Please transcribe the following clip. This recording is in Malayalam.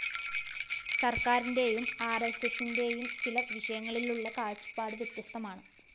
സര്‍ക്കാരിന്റെയും ആര്‍എസ്എസിന്റെയും ചില വിഷയങ്ങളിലുള്ള കാഴ്ചപ്പാടു വ്യത്യസ്തമാണ്